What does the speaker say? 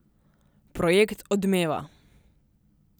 Projekt odmeva.